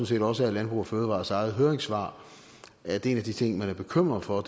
set også af landbrug fødevarers eget høringssvar at en af de ting man er bekymret for